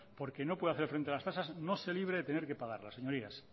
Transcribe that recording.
porque no puede hacer frente a las tasas no se libre de tener que pagarlas señorías